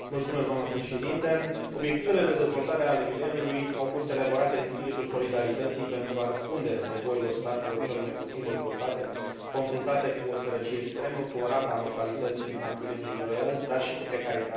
Obiectivele de dezvoltare ale mileniului au fost elaborate în spiritul solidarității, pentru a răspunde nevoilor statelor cel mai puțin dezvoltate, confruntate cu o sărăcie extremă, cu o rată a mortalității infantile îngrijorătoare, dar și cu precaritatea resurselor naturale.